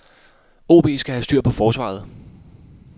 OB skal have styr på forsvaret.